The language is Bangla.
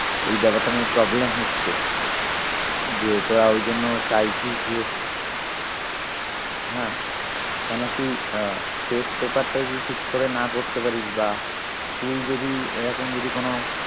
এই ব্যাপারটা নিয়ে problem হচ্ছে যে তোরা ওই জন্য চাইছিস যে হ্যাঁ কেন কি আহ test paper টা যদি ঠিক করে না করতে পারিস বা school যদি এরকম যদি কোনো